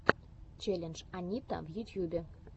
челлендж анитта в ютьюбе